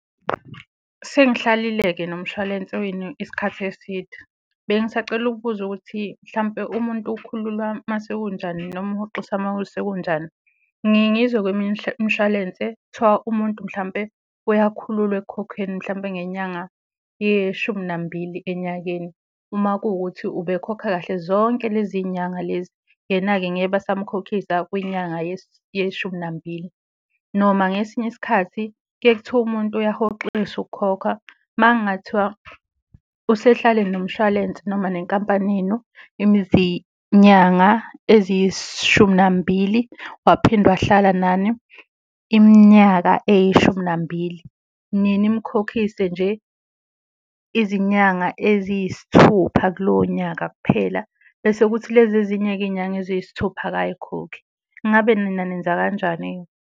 Sengihlalile-ke nomshwalense wenu isikhathi eside, bengisacela ukubuza ukuthi mhlampe umuntu ukhululwa mase kunjani noma uhoxisa maku sekunjani? Ngiye ngizwe kweminye imishwalense kuthiwa umuntu mhlampe uyakhululwa ekukhokheni mhlampe ngenyanga yeshumi nambili enyakeni, uma kuwukuthi ube khokha kahle zonke lezi y'nyanga lezi, yena-ke ngeke basamkhokhisa kwinyanga yeshumi nambili. Noma ngesinye isikhathi kuye kuthiwe umuntu uyahoxisa ukukhokha makungathiwa usehlale nomshwalense, noma nenkampanini yenu izinyanga eziyishumi nambili waphinde wahlala nani iminyaka eyishumi nambili, niye nimkhokhise nje izinyanga eziyisithupha kulowo nyaka kuphela bese kuthi lezi ezinye-ke iy'nyanga eziyisithupha akay'khokhi. Ingabe nina nenza kanjani-ke?